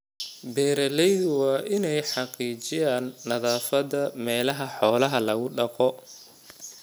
Beeralaydu waa inay xaqiijiyaan nadaafadda meelaha xoolaha lagu dhaqdo.